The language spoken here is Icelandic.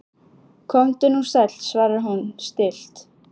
Komdu nú sæll, svarar hún stillt.